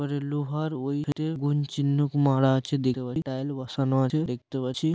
ওখানে লোহার ওই থেকে গুন চিন্হক মারা আছে দেখতে পাছি বসানো আছে দেখতে পাচ্ছি।